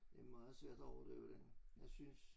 Det er meget svært at overdøve den jeg synes